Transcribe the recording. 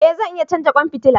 E zan iya canza kwan fitila.